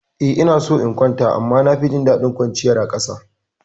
Eh ina so in kwanta amma na fi jin daɗin kwanciya a ƙasa.